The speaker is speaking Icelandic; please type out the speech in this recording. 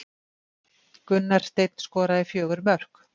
Gunnar Steinn skoraði fjögur mörk